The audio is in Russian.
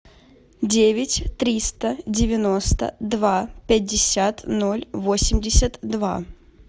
девять триста девяносто два пятьдесят ноль восемьдесят два